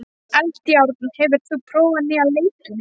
Eldjárn, hefur þú prófað nýja leikinn?